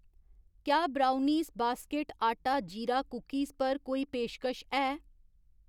क्या brownies basket आटा जीरा कुकिस पर कोई पेशकश है ?